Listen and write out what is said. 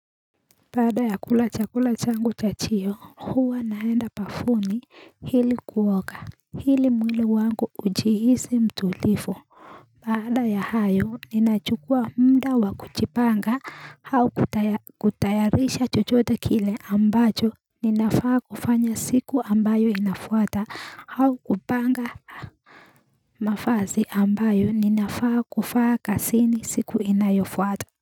Baada ya kula chakula changu chajio huwa naenda bafuni ili kuoga. Ili mwili wangu ujihisi mtulivu Baada ya hayo ninachukua muda wa kujipanga au kutayarisha chochote kile ambacho ninafaa kufanya siku ambayo inafuata au kupanga mavazi ambayo ninafaa kuvaa kazini siku inayofuata.